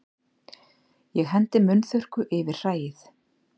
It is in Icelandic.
Ég hendi munnþurrku yfir hræið.